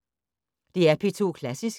DR P2 Klassisk